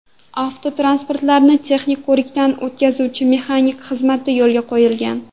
Avtotransportlarni texnik ko‘rikdan o‘tkazuvchi mexanik xizmati yo‘lga qo‘yilgan.